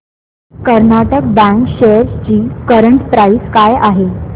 Karnataka bank shares ची current price काय आहे